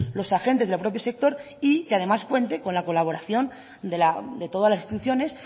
los agentes del propio sector y que además cuente con la colaboración de todas las instituciones